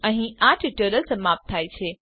અહીં આ ટ્યુટોરીયલ સમાપ્ત થાય છે